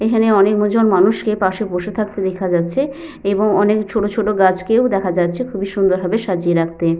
এখানে অনেকমজন মানুষ কে পাশে বসে থাকতে দেখা যাচ্ছে এবং অনেক ছোট ছোট গাছকেও দেখা যাচ্ছে খুবই সুন্দর ভাবে সাজিয়ে রাখতে।